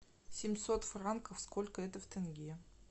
семьсот франков сколько это в тенге